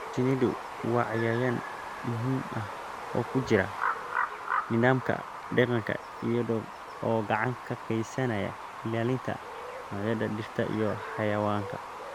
Shinnidu waa cayayaan muhiim ah oo ku jira nidaamka deegaanka iyada oo gacan ka geysanaysa ilaalinta noocyada dhirta iyo xayawaanka.